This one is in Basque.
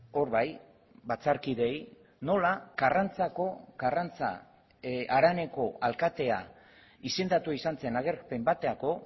hor bai batzarkideei nola karrantzako karrantza haraneko alkatea izendatua izan zen agerpen baterako